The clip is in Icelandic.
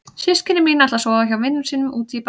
Systkini mín ætla að sofa hjá vinum sínum úti í bæ.